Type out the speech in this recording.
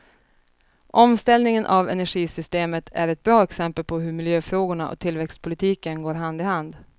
Omställningen av energisystemet är ett bra exempel på hur miljöfrågorna och tillväxtpolitiken går hand i hand.